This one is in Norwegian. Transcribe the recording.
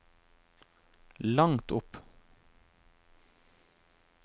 langt opp